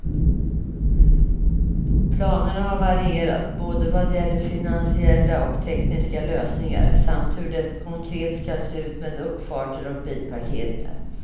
Planerna har varierat, både vad gäller finansiella och tekniska lösningar samt hur det konkret skall se ut med uppfarter och bilparkeringar.